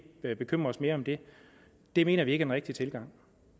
bekymre os mere om det det mener vi ikke rigtige tilgang